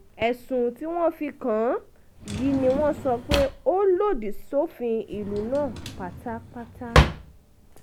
ẹ̀sùn tí wọ́n fi kàn án yìí ni wọ́n sọ pé ó lòdì sófin ìlú náà pátápátá